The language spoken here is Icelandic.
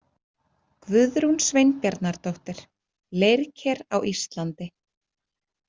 Guðrún Sveinbjarnardóttir, Leirker á Íslandi.